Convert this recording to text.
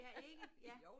Ja ikke ja